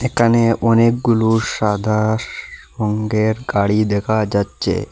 এখানে অনেকগুলো সাদা রঙ্গের গাড়ি দেখা যাচ্ছে।